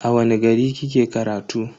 A wani gari kike karatu?